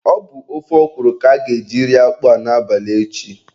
Ọ bụ ofe ọkwụrụ ka a ga-eji rie akpụ a n'abalị echi.